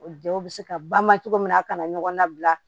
O jaw bɛ se ka ba ma cogo min na a kana ɲɔgɔn nabila